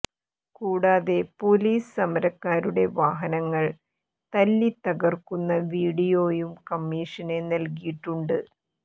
കൂടാതെ പോലീസ് സമരക്കാരുടെ വാഹനങ്ങൾ തല്ലി തകർക്കുന്ന വീഡിയോയും കമ്മീഷന് നൽകിയിട്ടുണ്ട്